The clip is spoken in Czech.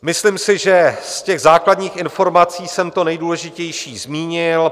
Myslím si, že z těch základních informací jsem to nejdůležitější zmínil.